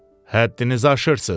Həddinizi aşırız.